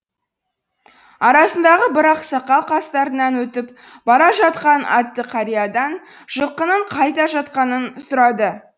арасындағы бір ақсақал қастарынан өтіп бара жатқан атты қариядан жылқының қайда жатқанын сұрады